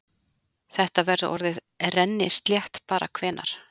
Þetta verður orðið rennislétt bara hvenær?